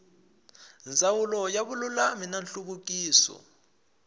ndzawulo ya vululami na nhluvukiso